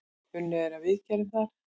Unnið er að viðgerð þar.